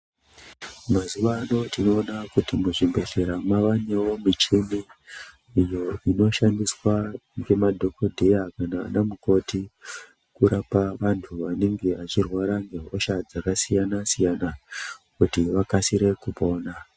Mzuwa ano tinoona kuti muzvibhedhleya mavanewo muchini iyo inoshandiswa ngemadhokodheya kana anamukoti urapa vantu vanenge vachirwara ngehosha dzakasiyana siyana kuti vakasire kupona.